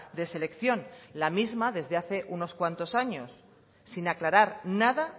de selección la misma desde hace unos cuantos años sin aclarar nada